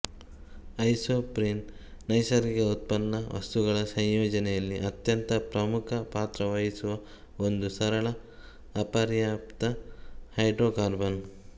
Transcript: isoprene ನೈಸರ್ಗಿಕ ಉತ್ಪನ್ನ ವಸ್ತುಗಳ ಸಂಯೋಜನೆಯಲ್ಲಿ ಅತ್ಯಂತ ಪ್ರಮುಖ ಪಾತ್ರ ವಹಿಸುವ ಒಂದು ಸರಳ ಅಪರ್ಯಾಪ್ತ ಹೈಡ್ರೊಕಾರ್ಬನ್